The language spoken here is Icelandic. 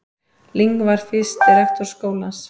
Ling var fyrsti rektor skólans.